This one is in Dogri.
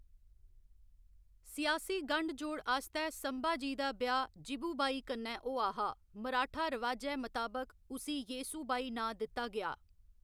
सियासी गंढ जोड़ आस्तै संभाजी दा ब्याह्‌‌ जिवुबाई कन्नै होआ हा, मराठा रवाजै मताबक उसी येसुबाई नांऽ दित्ता गेआ।